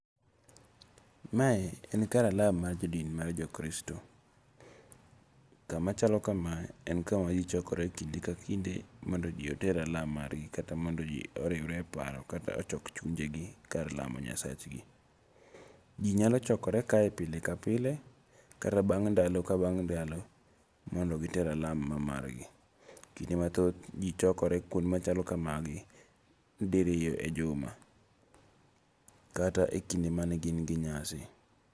Mae en kar alam mar jodin mar Kristo. Kama chalo kama, en kama ji chokore kinde ka kinde mondo ji oter alam margi kata mondo ji oriwre e paro kata mondo ji ochok chunjegi kar lamo nyasachgi. Ji nyalo chokore kae pile ka pile, kata bang' ndalo ka bang' ndalo mondo giter alam mamar gi. Kinde mathoth ji chokore kuonde machalo kamagi diriyo e juma. Kata ekinde mane gin gi nyasi.